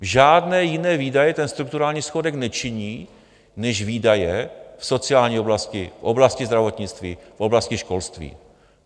Žádné jiné výdaje ten strukturální schodek nečiní než výdaje v sociální oblasti, v oblasti zdravotnictví, v oblasti školství.